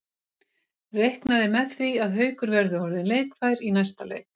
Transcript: Reiknað er með því að Haukur verði orðinn leikfær í næsta leik.